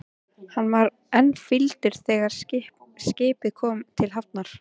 Hann var enn fýldur þegar skipið kom til hafnar.